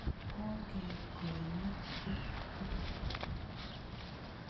Onge konyit piik tukul.